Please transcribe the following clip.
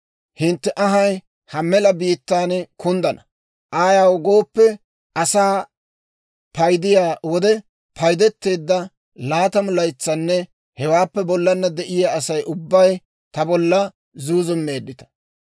Hintte anhay ha mela biittaan kunddana; ayaw gooppe, asaa paydiyaa wode paydeteedda laatamu laytsanne hewaappe bollana de'iyaa Asay ubbay ta bolla zuuzummeeddita.